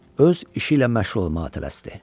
Öz işi ilə məşğul olmağa tələsdi.